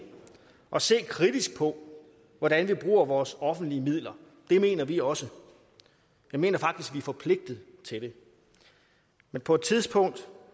at se kritisk på hvordan vi bruger vores offentlige midler det mener vi også jeg mener faktisk vi er forpligtet til det men på et tidspunkt